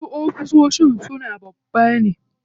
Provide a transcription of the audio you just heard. Wasu ofishin su babba ne.